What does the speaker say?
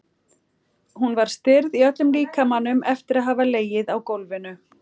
Hún var stirð í öllum líkamanum eftir að hafa legið á gólfinu.